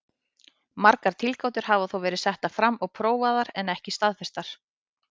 Margar tilgátur hafa þó verið settar fram og prófaðar en ekki staðfestar.